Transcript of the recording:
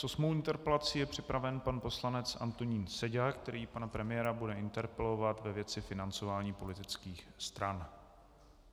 S osmou interpelací je připraven pan poslanec Antonín Seďa, který pana premiéra bude interpelovat ve věci financování politických stran.